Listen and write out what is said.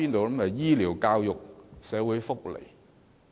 不就是醫療、教育和社會福利。